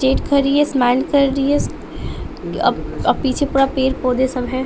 खड़ी है स्माइल कर रही है अ अ पीछे पूरा पेड़ पौधे सब हैं।